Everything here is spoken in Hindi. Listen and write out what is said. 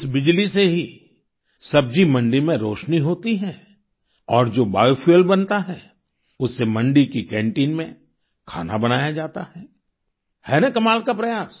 इस बिजली से ही सब्जी मंडी में रोशनी होती है और जो बियो फ्यूएल बनता है उससे मंडी की कैंटीन में खाना बनाया जाता है है न कमाल का प्रयास